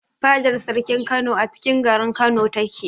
Fadar sarkin Kano acikin garin Kano ta ke